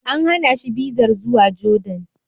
An hana shi bizar zuwa Jordan.